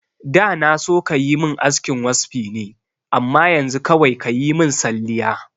Da na so kayi min askin waspi ne amma yanzu kawai kayi min salliya